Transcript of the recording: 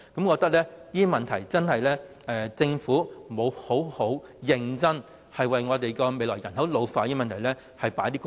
我認為政府實在沒有認真的就香港未來人口老化的問題多下工夫。